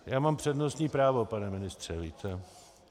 Já mám přednostní právo, pane ministře, víte?